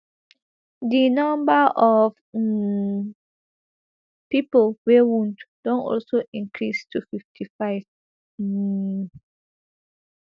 di number of um pipo wey wound don also increase to fifty-five um